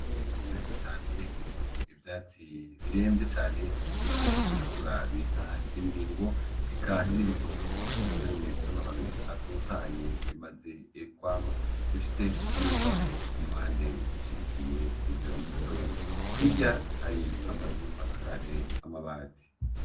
Itongo rinini cane ririmwo ivyatsi birenvye cane biriko birakura bita ibibingo eka n'ibitoki navyo nyene bifise amababi atotahaye bimaze kwama bifise n'imbagu kumpande zishigikiye ivyo bitoki, hirya hari amazu asakaje amabati.